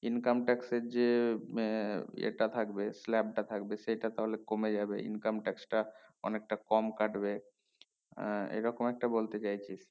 income tax এর যে আহ ইয়ে টা থাকবে slab টা থাকবে সেটা তাহলে কমে যাবে income tax টা অনেকটা কম কাটবে আহ এই রকম একটা বলতে চাইছি